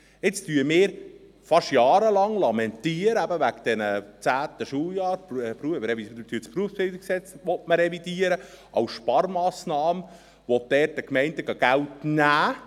Jetzt lamentieren wir fast jahrelang wegen des 10. Schuljahres und dass man das BerG als Sparmassnahme revidieren will und nimmt dort den Gemeinden Geld weg.